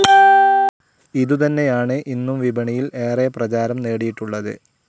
ഇതുതന്നെയാണ് ഇന്നും വിപണിയിൽ ഏറെ പ്രചാരം നേടിയിട്ടുള്ളത്.